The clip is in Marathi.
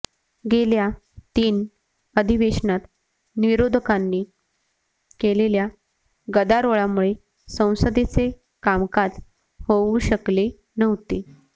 गेल्या तीन अधिवेशनात विरोधकांनी केलेल्या गदारोळामुळे संसदेचे कामकाज होऊ शकले नव्हते